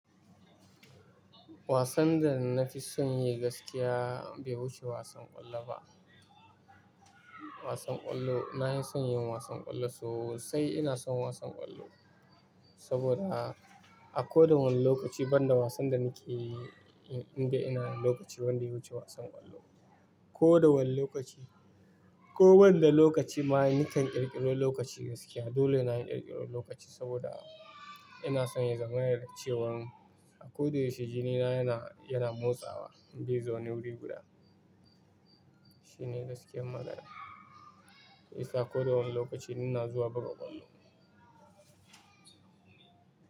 Wasan da na fi son yi gaskiya bai wuce wasan ƙwallo ba. Wasan ƙwallo, na hi son yin wasan ƙwallo sosai. Ina son wasan ƙwallo saboda a koda wane lokaci banda wasan da nake yi, in dai ina lokaci banda yawuce wasan ƙwallo. Ko da wane lokaci ko banda lokaci, ma ni kan ƙirƙiri lokaci gaskiya. Dole na yi ƙirƙiro lokaci saboda ina son yin zamana da cewan a ko da yaushe jini na yana, yana motsawa bai zaune wuri guda. Shine gaskiyar magana. Isa a koda wane lokaci ina zuwa buga ƙwallo.